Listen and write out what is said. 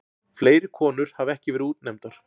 Fleiri konur hafa ekki verið útnefndar.